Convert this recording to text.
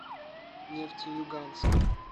нефтеюганска